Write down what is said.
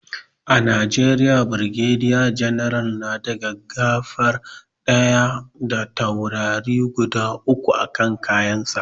A najeriya brigadier general na da gaggafa ɗaya da taurari guda uku a kan kayan sa